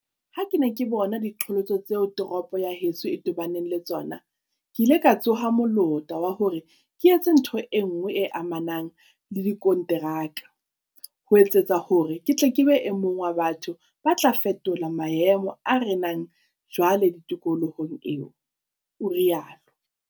"Ha ke ne ke bona diqholotso tseo toropo ya heso e tobaneng le tsona, ke ile ka tsoha molota wa hore ke etse ntho enngwe e amanang le dikonteraka, ho etsetsa hore ke tle ke be e mong wa batho ba tla fetola maemo a renang jwale tikolohong eo," o rialo.